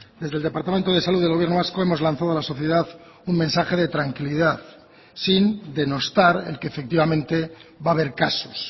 desde el departamento de salud del gobierno vasco hemos lanzado a la sociedad un mensaje de tranquilidad sin denostar el que efectivamente va a haber casos